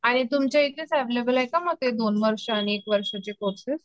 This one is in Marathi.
आणि तुमच्या इथेच एवेलेबल आहे का ते दोन वर्ष आणि एक वर्षाचे कोर्सेस